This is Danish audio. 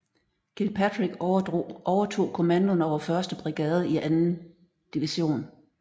Kilpatrick overtog kommandoen over 1st brigade i 2nd division